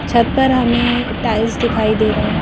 छत पर हमें टाइल्स दिखाई दे रहे हैं।